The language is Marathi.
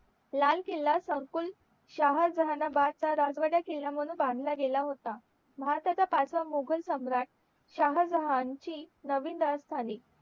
लाल किल्ला pending मुघल सम्राट शहाजण ची नवीन